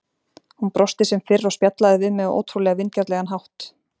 Hún brosti sem fyrr og spjallaði við mig á ótrúlega vingjarnlegan hátt.